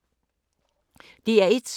DR1